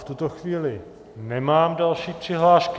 V tuto chvíli nemám další přihlášky.